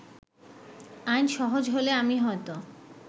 আইন সহজ হলে আমি হয়তো